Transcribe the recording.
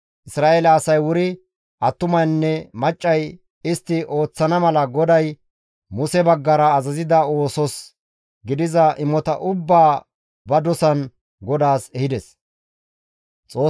Isra7eele asay wuri attumaynne maccay, istti ooththana mala GODAY Muse baggara azazida oosos gidiza imota ubbaa ba dosan GODAAS ehides.